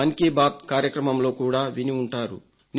మన్ కీ బాత్ కార్యక్రమంలో కూడా విని ఉంటారు